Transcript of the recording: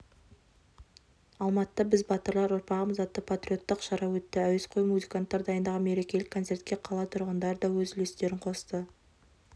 алматыда біз батырлар ұрпағымыз атты патриоттық шара өтті әуесқой музыканттар дайындаған мерекелік концертке қала тұрғындары да өз үлестерін қосты